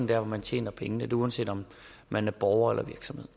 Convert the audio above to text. der hvor man tjener pengene det er uanset om man er borger